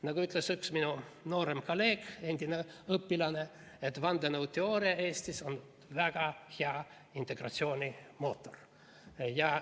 Nagu ütles üks minu noorem kolleeg, endine õpilane, et vandenõuteooria Eestis on väga hea integratsiooni mootor.